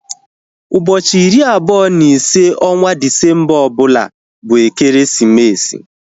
Ụbọchị iri abụọ na ise onwa Disemba ọbụla bụ ekeresimesi